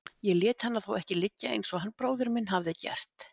Ég lét hana þó ekki liggja eins og hann bróðir minn hafði gert.